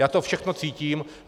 Já to všechno cítím.